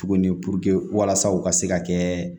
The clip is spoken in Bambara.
Tuguni walasa u ka se ka kɛ